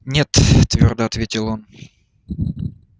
нет твёрдо ответил он